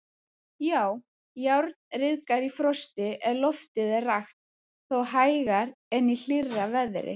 Já, járn ryðgar í frosti ef loftið er rakt, þó hægar en í hlýrra veðri.